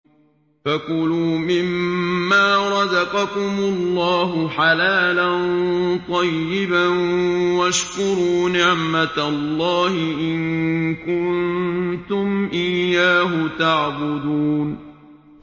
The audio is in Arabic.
فَكُلُوا مِمَّا رَزَقَكُمُ اللَّهُ حَلَالًا طَيِّبًا وَاشْكُرُوا نِعْمَتَ اللَّهِ إِن كُنتُمْ إِيَّاهُ تَعْبُدُونَ